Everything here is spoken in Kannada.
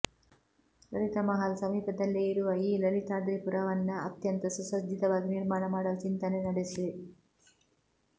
ಲಲಿತಮಹಾಲ್ ಸಮೀಪದಲ್ಲೆ ಇರುವ ಈ ಲಲಿತಾದ್ರಿಪುರವನ್ನ ಅತ್ಯಂತ ಸುಸಜ್ಜಿತವಾಗಿ ನಿರ್ಮಾಣ ಮಾಡಲು ಚಿಂತನೆ ನಡೆಸಿ